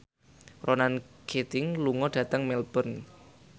Ronan Keating lunga dhateng Melbourne